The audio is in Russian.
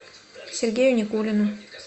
сергею никулину